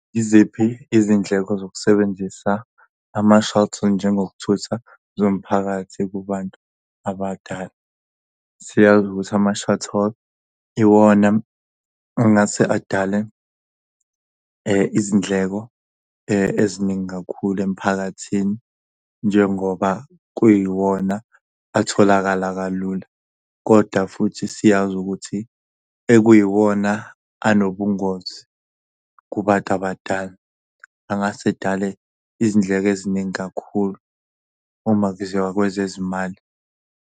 Yiziphi izindleko zokusebenzisa ama-shuttle njengokuthutha zomphakathi kubantu abadala? Siyazi ukuthi ama-shuttle iwona engathi adale izindleko eziningi kakhulu emphakathini njengoba kuyiwona atholakala kalula, kodwa futhi siyazi ukuthi ekuyiwona anobungozi kubantu abadala. Angase edale izindleko eziningi kakhulu uma kuziwa kwezezimali.